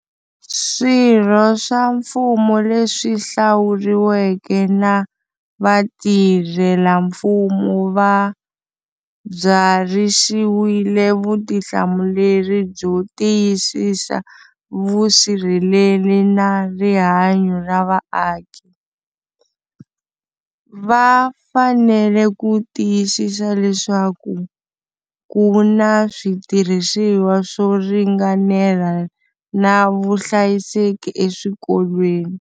Swirho swa mfumo leswi hlawuriweke na vatirhelamfumo va byarhisiwile vutihlamuleri byo tiyisisa vusirheleri na rihanyo ra vaaki. Va fanele ku tiyisisa leswaku ku na switirhisiwa swo ringanela na vuhlayiseki eswikolweni.